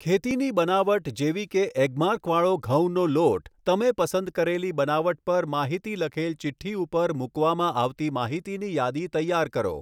ખેતીની બનાવટ જેવી કે ઍગ્માર્ક વાળો ઘઉંનો લોટ તમે પસંદ કરેલી બનાવટ પર માહિતી લખેલ ચિઠ્ઠી ઉપર મૂકવામાં આવતી માહિતીની યાદી તૈયાર કરો.